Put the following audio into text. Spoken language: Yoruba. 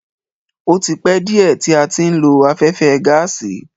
O tí pẹ́ díẹ̀ tí a ti ń lo afẹ́fẹ́ gáàsì.